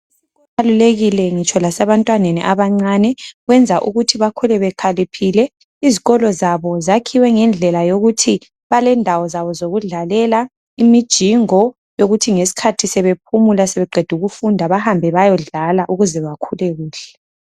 Kubalulekile ngitsho lasebantwaneni abancane kwenza ukuthi bakhule bekhaliphile izikolo zabo zakhiwe ngendlela yokuthi balendawo zabo zokudlalela imijingo yokuthi ngesikhathi sebephumula sebeqedukufunda bahambe bayodlala ukuze bakhule kuhle